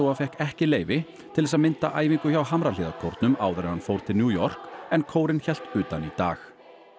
fékk ekki leyfi til þess að mynda æfingu hjá Hamrahlíðarkórnum áður en hann fór til New York en kórinn hélt utan í dag